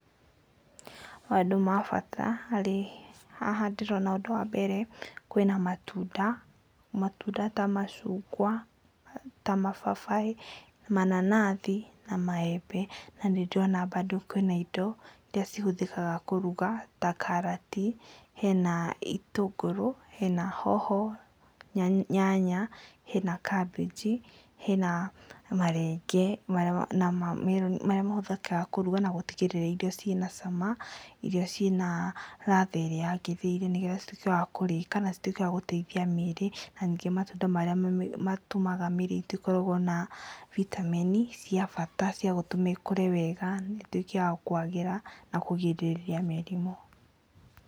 Maũndũ mabata harĩ, haha ndĩrona ũndũ wa mbere, kwĩna matunda. Matunda ta macungwa, ta mababaĩ, mananathi, na maembe. Na nĩ ndĩrona bandũ kwĩna indo iria cihũthĩkaga kũruga ta karati, hena itũngũrũ, hena hoho, nyanya, hena kambĩnji, hena marenge marĩa mahũthĩkaga kũruga na gũtigĩrĩra irio ciĩna cama, irio ciĩna ratha ĩrĩa yagĩrĩire nĩgetha cituĩke wakũrĩĩka, ca cituĩke wa gũteithia mĩĩrĩ, na ningĩ matunda marĩa matũmaga mĩĩrĩ itũ ĩkoragwo na vitamin cia bata cia gũtũma ikũre, ĩtuĩke ya kũagĩra, na kũgirĩrĩria mĩrimũ.